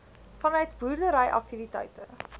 vanuit boerdery aktiwiteite